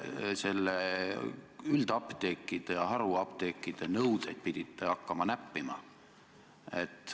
Miks te pidite hakkama üldapteekide ja haruapteekide nõudeid näppima?